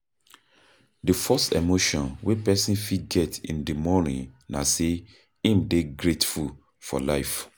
Di first emotion wey person fit get in di morning na sey im dey grateful for life